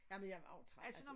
Jamen jeg var også træt altså